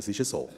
Das ist so.